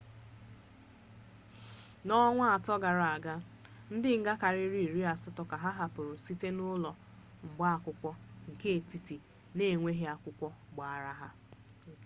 n'ọnwa ato gara-aga ndi nga karịrị iri asatọ ka a hapụrụ site n'ụlọ mgba akwụkwọ nke etiti n'enweghị akwụkwọ agbara ha